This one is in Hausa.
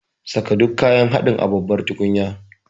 Saka duk kayan haɗin a babbar tukunya.